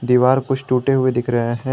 दीवार कुछ टूटे हुए दिख रहे हैं।